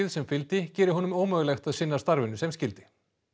sem fylgdi geri honum ómögulegt að sinna starfinu sem skyldi